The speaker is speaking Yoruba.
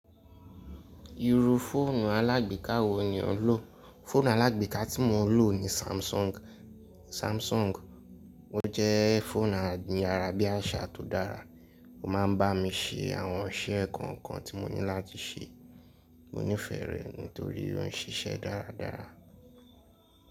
Irú fóònù alágbèká wo ni o ń lò? Fóònù alágbèká tí mo ń lò ní Samsung. Ó jẹ́ fóònù ayárabíàṣá tó dára. Ó ma ń bá mi ṣe àwọn iṣẹ́ kọ̀ọ̀kan tí mo ní láti ṣe. Mo nífẹ̀ẹ́ rẹ̀ nítorí ó ń ṣiṣẹ́ dáradára.